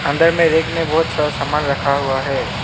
अंदर में रेक में बहुत सारा सामान रखा हुआ है।